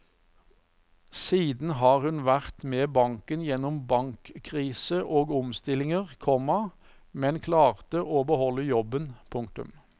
Siden har hun vært med banken gjennom bankkrise og omstillinger, komma men klarte å beholde jobben. punktum